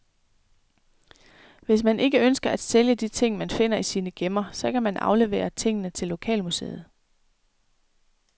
Hvis man ikke ønsker at sælge de ting, man finder i sine gemmer, så kan man aflevere tingene til lokalmuseet.